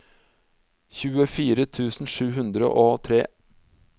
tjuefire tusen sju hundre og tre